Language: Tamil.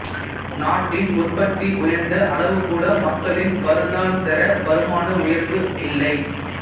நாட்டின் உற்பத்தி உயர்ந்த அளவுகூட மக்களின் வருடாந்தர வருமான உயர்வு இல்லை